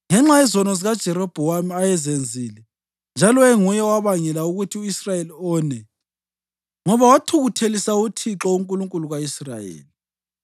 ngenxa yezono zikaJerobhowamu ayezenzile njalo enguye owabangela ukuthi u-Israyeli one, ngoba wathukuthelisa uThixo, uNkulunkulu ka-Israyeli.